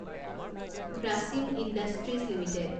Grasim industries limited